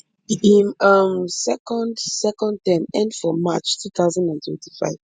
im um second second term end for march two thousand and twenty-five